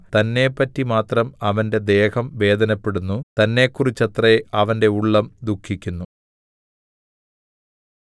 തന്നെപ്പറ്റി മാത്രം അവന്റെ ദേഹം വേദനപ്പെടുന്നു തന്നെക്കുറിച്ചത്രേ അവന്റെ ഉള്ളം ദുഃഖിക്കുന്നു